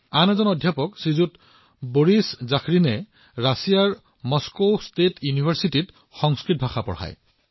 তেনে এজন অধ্যাপক হৈছে শ্ৰীযুত বৰিছ জাখৰিন যি ৰাছিয়াৰ মস্কো ষ্টেট ইউনিভাৰ্চিটিত সংস্কৃত পঢ়ায়